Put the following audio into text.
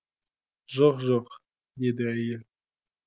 жоқ жоқ деді әйел